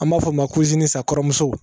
An b'a fɔ o ma ko kɔrɔmuso